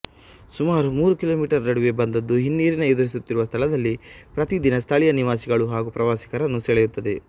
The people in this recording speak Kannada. ಸುಮಾರು ಮೂರು ಕಿಲೋಮೀಟರ್ ನಡವೆ ಬಂದದ್ದು ಹಿನ್ನೀರಿನ ಎದುರಿಸುತ್ತಿರುವ ಸ್ಥಳದಲ್ಲಿ ಪ್ರತಿ ದಿನ ಸ್ಥಳೀಯ ನಿವಾಸಿಗಳು ಹಾಗೂ ಪ್ರವಾಸಿಗರನ್ನು ಸೆಳೆಯುತ್ತದೆ